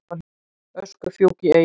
Öskufjúk í Eyjum